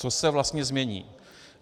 Co se vlastně změní?